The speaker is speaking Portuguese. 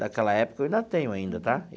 Daquela época, eu ainda tenho ainda, tá?